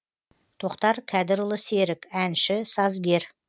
тоқтар кәдірұлы серік әнші сазгер